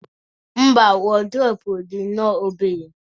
mba, wardrobe dị nnọọ obere